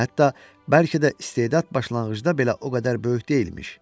Hətta bəlkə də istedad başlanğıcda belə o qədər böyük deyilmiş.